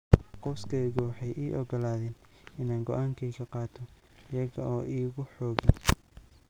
"Qoyskaygu waxay ii oggolaadeen inaan go'aankayga qaato iyaga oo iigu xoogin."